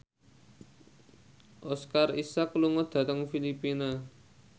Oscar Isaac lunga dhateng Filipina